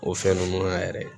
O fɛn ninnu na yɛrɛ